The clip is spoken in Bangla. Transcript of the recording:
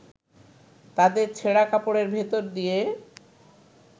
তাদের ছেঁড়া কাপড়ের ভেতর দিয়ে